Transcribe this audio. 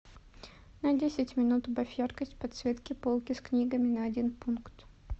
на десять минут убавь яркость подсветки полки с книгами на один пункт